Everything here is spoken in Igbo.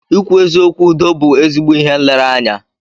Ịkwụ eziokwu Udo bú ezigbo ihe nlereanya.